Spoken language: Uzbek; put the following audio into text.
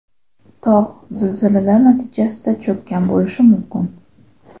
Tog‘ zilzilalar natijasida cho‘kkan bo‘lishi mumkin.